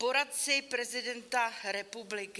Poradci prezidenta republiky.